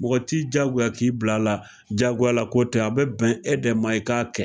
mɔgɔ t'i jagoya k'i bil'a la, jagoyala ko tɛ a bɛ bɛn e dɛ ma i k'a kɛ